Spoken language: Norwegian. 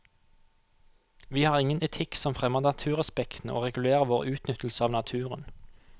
Vi har ingen etikk som fremmer naturrespekten og regulerer vår utnyttelse av naturen.